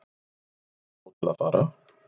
Nóg til að fara